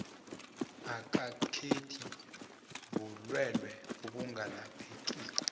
ikanketi bulelwe obungalaphekiko